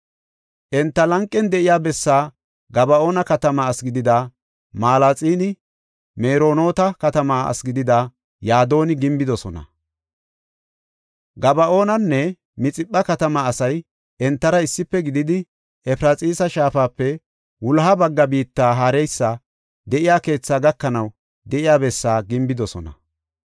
Enta lanqen de7iya bessaa Gaba7oona katamaa asi gidida Malaaxinne Meronoota katamaa asi gidida Yadooni gimbidosona. Gaba7oonanne Mixipha katamaa asay entara issife gididi, Efraxiisa shaafape wuloha bagga biitta haareysi de7iya keethaa gakanaw de7iya bessaa gimbidosona.